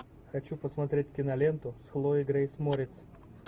хочу посмотреть киноленту с хлоей грейс морец